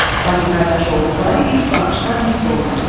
Bacı-qardaş olduqları ilk baxışdan hiss olunurdu.